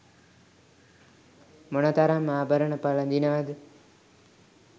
මොනතරම් ආභරණ පළඳිනවද?